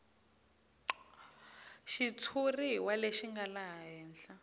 xitshuriwa lexi nga laha henhla